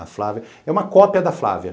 A Flávia é uma cópia da Flávia.